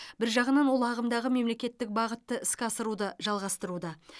бір жағынан ол ағымдағы мемлекеттік бағытты іске асыруды жалғастыруда